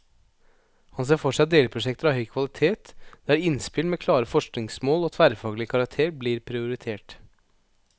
Han ser for seg delprosjekter av høy kvalitet, der innspill med klare forskningsmål og tverrfaglig karakter blir prioritert.